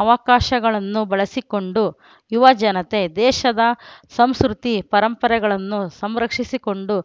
ಅವಕಾಶಗಳನ್ನು ಬಳಸಿಕೊಂಡು ಯುವ ಜನತೆ ದೇಶದ ಸಂಸ್ಕೃತಿ ಪರಂಪರೆಗಳನ್ನು ಸಂರಕ್ಷಿಸಿಕೊಂಡು